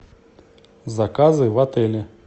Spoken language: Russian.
заказы в отеле